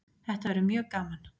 Þetta verður mjög gaman